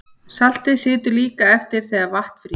Saltið situr líka eftir þegar vatn frýs.